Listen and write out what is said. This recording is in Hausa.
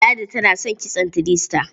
Ladi tana son kitson three star.